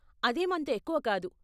అదేం అంత ఎక్కువ కాదు.